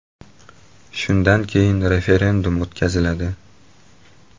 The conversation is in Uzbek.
Shundan keyin referendum o‘tkaziladi.